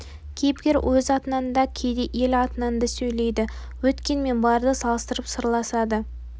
кейіпкер өз атынан да кейде ел атынан да сөйлейді өткен мен барды салыстырып сырласады